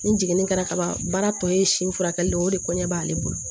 Ni jiginni kɛra kaban baara tɔ ye si furakɛli de ye o de kɔɲɔ b'ale bolo